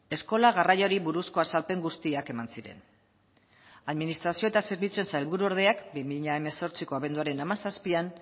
eskola garraioari buruzko azalpen guztiak eman ziren administrazio eta zerbitzuen sailburuordeak bi mila hemezortziko abenduaren hamazazpian